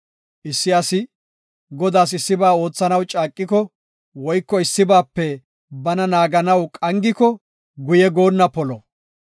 Issi asi Godaas issiba oothanaw caaqiko woyko issibaape bana naaganaw qangiko guye goonna polo.